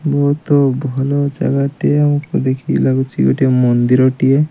ବହୁତ ଭଲ ଜାଗାଟେ ଦେଖିକି ଲାଗୁଛି ଗୋଟେ ମନ୍ଦିରଟିଏ।